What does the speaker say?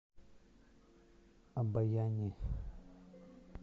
обояни